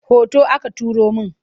Hoto aka turo min.